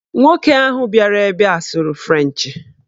Nwoke ahụ bịara ebe a sụrụ frenchị